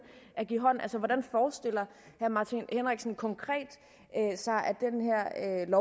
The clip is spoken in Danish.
at give hånd altså hvordan forestiller herre martin henriksen sig konkret at den